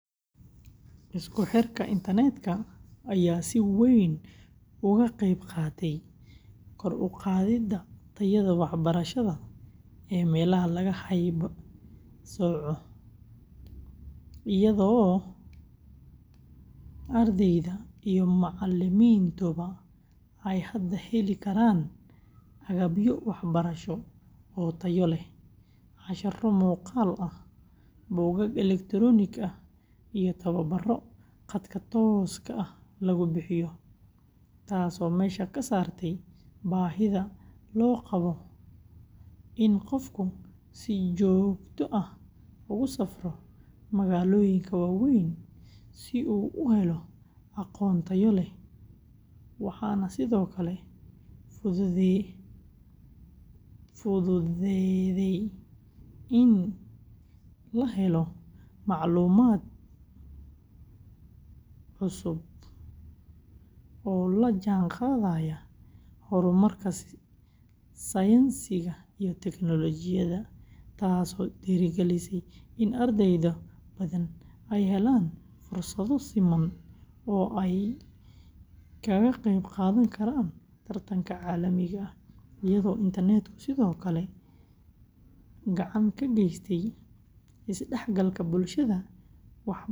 Isku xirka internetka ayaa si weyn uga qayb qaatay kor u qaadidda tayada waxbarasho ee meelaha laga haybsooco, iyadoo ardayda iyo macallimiintuba ay hadda heli karaan agabyo waxbarasho oo tayo leh, casharro muuqaal ah, buugaag elektaroonik ah, iyo tababbarro khadka tooska ah lagu bixiyo, taasoo meesha ka saartay baahida loo qabo in qofku si joogto ah ugu safro magaalooyinka waaweyn si uu u helo aqoon tayo leh, waxaana sidoo kale fududaaday in la helo macluumaad cusub oo la jaanqaadaya horumarka sayniska iyo teknoolojiyadda, taasoo dhiirrigelisay in arday badan ay helaan fursado siman oo ay kaga qayb qaadan karaan tartanka caalamiga ah, iyadoo internetku sidoo kale gacan ka geystay isdhexgalka bulshada waxbaranaysa.